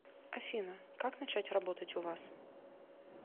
афина как начать работать у вас